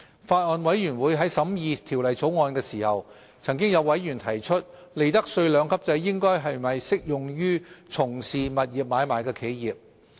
法案委員會在審議《條例草案》時，曾有委員提出利得稅兩級制應否適用於從事物業買賣的企業。